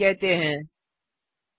initialisation कहते है